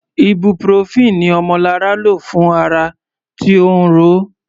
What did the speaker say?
Ibuprofen ni Omolara lò fún ara tí ó ń ro.